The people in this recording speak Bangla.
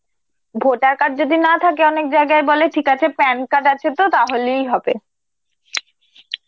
voter card যদি না থাকে, অনেক জায়গায় বলে ঠিক আছে PAN card আছে তো তাহলেই হবে.